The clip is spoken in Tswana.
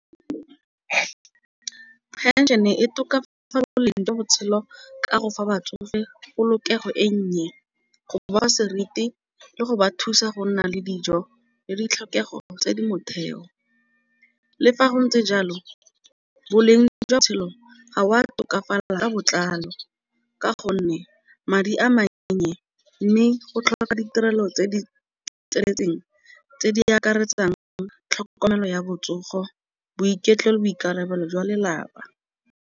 Phenšene e tokafatsa boleng jwa botshelo ka go fa ba tsofe polokego e nnye. Go boa seriti le go ba thusa go nna le dijo le ditlhokego tse di motheo. Le fa go ntse jalo boleng jwa pelo wa tokafala ka botlalo, ka gonne madi a mannye mme go tlhola ka ditirelo tse di tseneletseng tse di akaretsang jang tlhokomelo ya botsogo boiketlo le boikarabelo jwa lelapa.